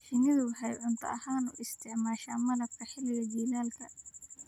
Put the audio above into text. Shinnidu waxay cunto ahaan u isticmaashaa malabka xilliga jiilaalka.